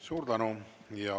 Suur tänu!